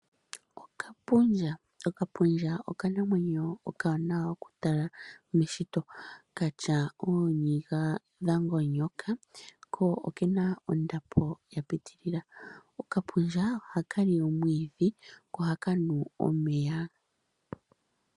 Okapundja okanamwenyo hoka oka wa nawa nokutalwa miishitwomwa ayihe okatya ooniga dha ngonyoka ko okena ondapo ya pitilila. Okapundja ohakali omwiidhi ko ohakanu omeya.